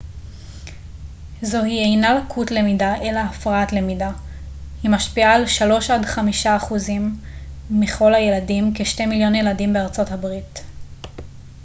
זוהי אינה לקות למידה אלא הפרעת למידה היא משפיעה על 3 עד 5 אחוזים מכל הילדים כ-2 מיליון ילדים בארה ב